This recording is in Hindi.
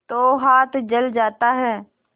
तो हाथ जल जाता है